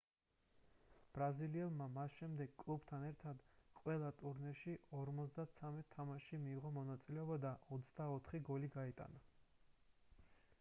ბრაზილიელმა მას შემდეგ კლუბთან ერთად ყველა ტურნირში 53 თამაშში მიიღო მონაწილეობა და 24 გოლი გაიტანა